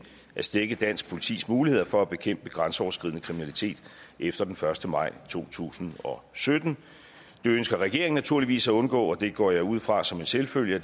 at stække dansk politis muligheder for at bekæmpe grænseoverskridende kriminalitet efter den første maj to tusind og sytten det ønsker regeringen naturligvis at undgå og det går jeg ud fra som en selvfølge